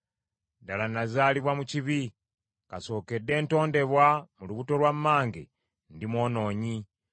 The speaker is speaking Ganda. Ddala, nazaalibwa mu kibi; kasookedde ntondebwa mu lubuto lwa mmange ndi mwonoonyi.